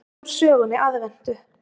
Lesið úr sögunni Aðventu.